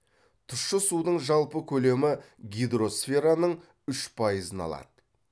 тұщы судың жалпы көлемі гидросфераның үш пайызын алады